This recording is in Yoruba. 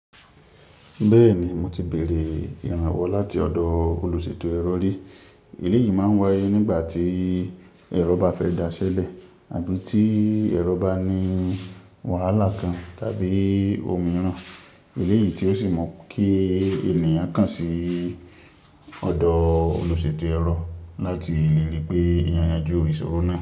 Bẹ́ẹ̀ ni, mo ti bèèrè ìrànwọ́ láti ọ̀dọ̀ olùṣètò ẹ̀rọ ri. Eleyìí máa ń wáyé nígbà tí ẹ̀rọ bá fẹ́ daṣẹ́lẹ̀ àbí tí ẹ̀rọ bá ní wàhálà kan tàbí òmíràn. Eléyìí tí ó sì mu kí ènìyàn kàn sí ọ̀dọ́ olùṣètò ẹ̀rọ láti lè rí pé èèyàn yanjú ìṣòro náà lọ.